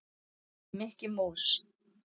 Mikki mús.